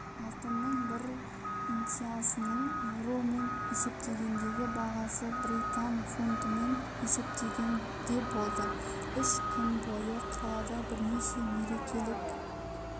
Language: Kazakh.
алтынның бір унциясының еуромен есептегендегі бағасы британ фунтымен есептегенде болды үш күн бойы қалада бірнеше мерекелік